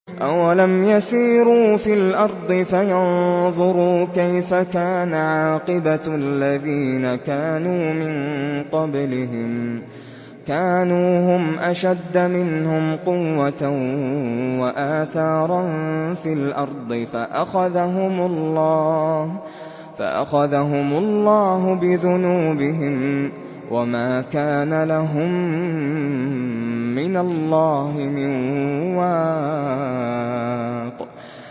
۞ أَوَلَمْ يَسِيرُوا فِي الْأَرْضِ فَيَنظُرُوا كَيْفَ كَانَ عَاقِبَةُ الَّذِينَ كَانُوا مِن قَبْلِهِمْ ۚ كَانُوا هُمْ أَشَدَّ مِنْهُمْ قُوَّةً وَآثَارًا فِي الْأَرْضِ فَأَخَذَهُمُ اللَّهُ بِذُنُوبِهِمْ وَمَا كَانَ لَهُم مِّنَ اللَّهِ مِن وَاقٍ